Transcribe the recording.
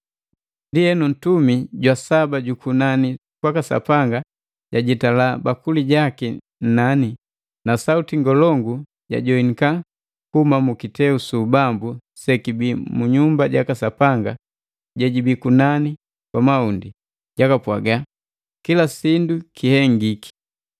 Ndienu, ntumi jwa saba jukunani kwaka Sapanga jajitala bakuli jaki nnani, na sauti ngolongu jajoinika kuhuma mu kiteu su ubambu sekibi mu nyumba jaka Sapanga jejibi kunani kwa mahundi, jakapwaga, “Kila sindu kihengiki.”